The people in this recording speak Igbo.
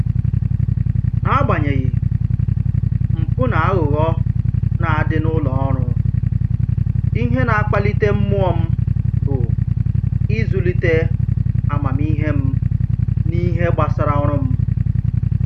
N'agbanyeghị mpụ na aghụghọ na-adị n'ụlọ ọrụ, ihe na-akpalite mmụọ m bụ ịzụlite amamihe m n'ihe gbasara ọrụ m